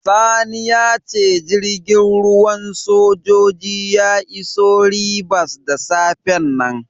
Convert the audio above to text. Sani ya ce jirgin ruwan sojoji ya iso Ribas da safen nan.